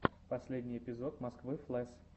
последний эпизод москвы флэс